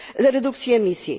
redukcji emisji.